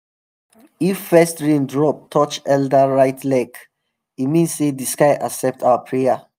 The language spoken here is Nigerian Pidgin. if first rain drop touch elder right leg e mean say the sky accept our prayer.